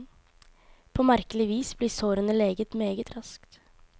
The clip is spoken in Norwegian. På merkelig vis blir sårene leget meget raskt.